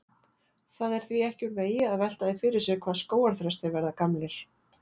Það er því ekki úr vegi að velta því fyrir sér hvað skógarþrestir verða gamlir.